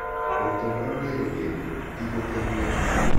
Ũtũũro nĩ rũgendo, ti gũteng'era.